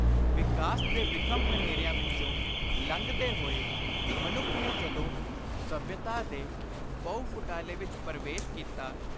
ਵਿਕਾਸ ਦੇ ਵਿਖਮ ਹਨੇਰਿਆਂ ਵਿਚੋਂ ਲੰਘਦੇ ਹੋਏ ਮਨੁੱਖ ਨੇ ਜਦੋਂ ਸੱਭਿਅਤਾ ਦੇ ਪਹੁ-ਫੁਟਾਲੇ ਵਿਚ ਪਰਵੇਸ਼ ਕੀਤਾ,